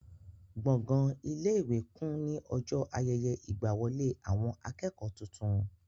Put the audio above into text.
Gbọ̀gán ilé-ìwé kún ní ọjọ́ ayẹyẹ ìgbàwọlé àwọn akẹ́kọ̀ọ́ tuntun.